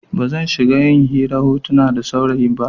Ba zan shiga yin hirar hotuna da sauri ba.